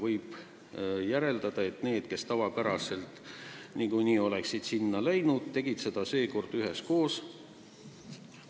Võib järeldada, et inimesed, kes niikuinii oleksid sinna läinud, tegid seda seekord üheskoos.